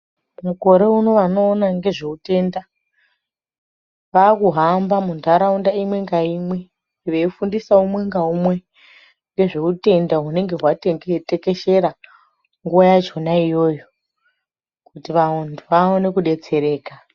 Mukore unowu unoona ngezvehutenda vakuhamba muntaraunda imwe naimwe weifundisa umwe naumwe nezvehutenda hunenge hwaitekeshera nguwa yachona iyoyo kuti vantu vaone kudetsereka.